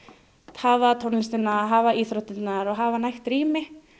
hafa tónlistina hafa íþróttirnar og hafa nægt rými